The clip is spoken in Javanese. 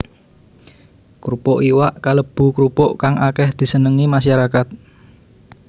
Krupuk iwak kalebu krupuk kang akéh disenengi masyarakat